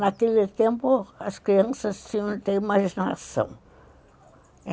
Naquele tempo, as crianças tinham muita imaginação.